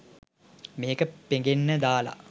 මේක පෙඟෙන්න දාලා